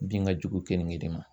Bin ka jugu keninge de ma.